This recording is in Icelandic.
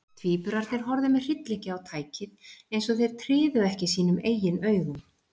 Tvíburarnir horfðu með hryllingi á tækið, eins og þeir tryðu ekki sínum eigin augum.